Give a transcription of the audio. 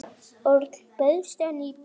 Örn, bauðstu henni í bíó?